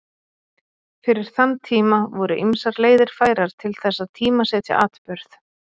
Fyrir þann tíma voru ýmsar leiðir færar til þess að tímasetja atburð.